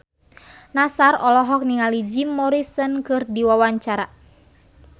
Nassar olohok ningali Jim Morrison keur diwawancara